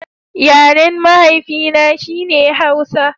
Yaren mahaifi na, shi ne Hausa